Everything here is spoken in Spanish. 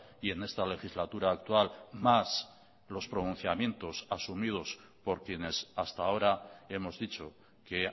y en esta legislatura actual más los pronunciamientos asumidos por quienes hasta ahora hemos dicho que